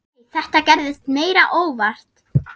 Nei, þetta gerðist meira óvart.